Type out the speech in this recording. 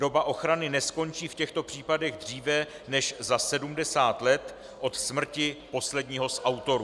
Doba ochrany neskončí v těchto případech dříve než za 70 let od smrti posledního z autorů.